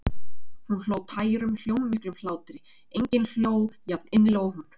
Hún hló, tærum, hljómmiklum hlátri, enginn hló jafninnilega og hún.